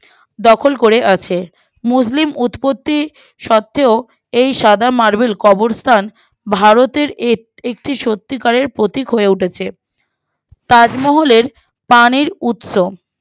দখল করে আছে মুসলিম উৎপত্তি সত্ত্বেও এই সাদা marble কবরস্থান ভারতের এক একটি সত্যিকারের প্রতীক হয়ে উঠেছে তাজমহলের প্রাণের উৎস